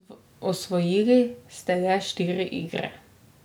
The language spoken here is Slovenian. Osvojili ste le štiri igre.